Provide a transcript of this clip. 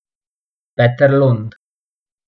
Peter Lund.